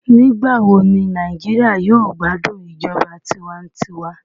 Nigbawo ni Naijiria yoo gbadun ijọba tiwantiwa?